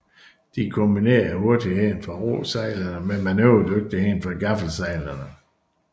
De kombinerede hurtigheden fra råsejlene med manøvredygtigheden fra gaffelsejlene